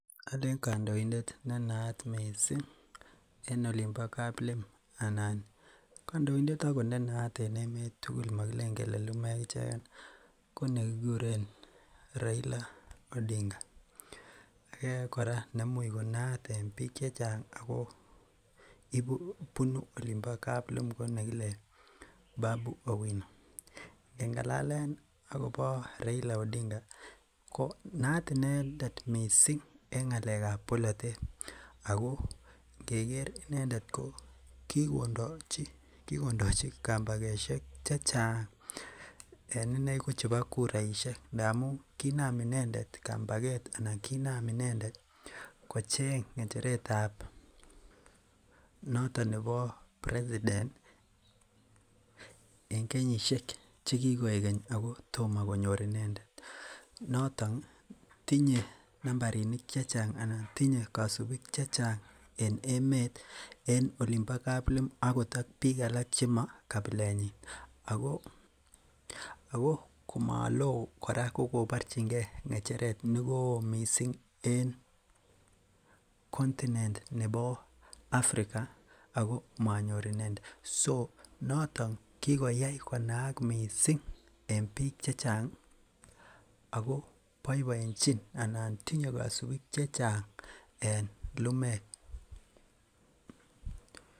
Oleen kondoidet ne naat mising en olimbo kaplim anan kondointet akot nee naat en emet tukul mokileen lumeek icheken konekikuren Raila Odinga, kora neimuch konaat en biik chechang ak ko bunuu olimbo kaplim ko nekile Babu Owino, ngengalalen akobo Raila Odinga ko naat inendet en ngalekab bolotet ak ko ngeker inendet ko kikondochi kambakoshek chechang en ineei ko chebo kuraishek ndamun kinaam inendet kambaket anan kinam inendet kocheng nggecheretab noton nebo president en kenyishek che kikoik keny ak kotomo konyor inendet, noton tinye nambarinik chechang anan tinye kosibik chechang en emet en olimbo kaplim okot ak biik chemo kapilenyin ak ko komoloo kora ko koborchinge ngecheret nekowo mising en continent nebo Africa ak ko monyor inendet, so noton kikoyai konaak mising en biik chechang ak ko boiboenchin anan tinye kosibik chechang en lumeek.